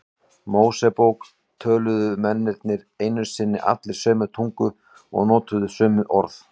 Mósebók töluðu mennirnir einu sinni allir sömu tungu og notuðu sömu orð.